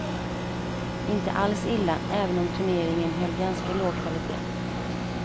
Inte alls illa, även om turneringen höll ganska låg kvalitét.